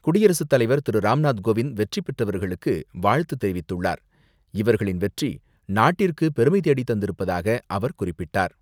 குடியரசுத்தலைவர் திரு.ராம்நாத் கோவிந்த் வெற்றி பெற்றவர்களுக்கு வாழ்த்து தெரிவித்துள்ளார். இவர்களின் வெற்றி நாட்டிற்கு பெருமை தேடி தந்திருப்பதாக அவர் குறிப்பிட்டார்.